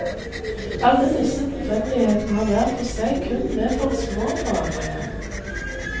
Alle disse tilfeldighetene har hver for seg kun medført små forandringer.